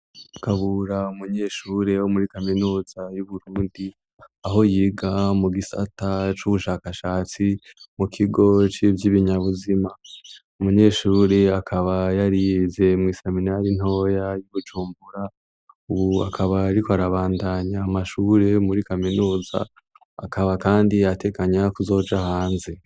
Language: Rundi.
Kabura umunyeshure wo muri kaminuza y'Uburundi, aho yiga mu gisata c'ubushakashatsi mu kigo civy'ibinyabuzima. Umunyeshure akaba yari yize mw'iseminari ntoya y'Ibujumbura, ubu akaba ariko arabandanya amashure muri kaminuza, akaba kandi ateganya kuzoja hanze.